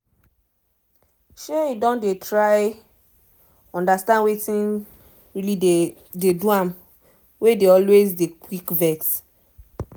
um e don dey try understand wetin really dey dey do am wey e dey always dey quick vex